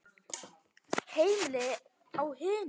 Heimili á hinum.